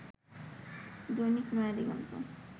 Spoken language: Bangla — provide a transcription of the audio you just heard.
দৈনিক নয়াদিগন্ত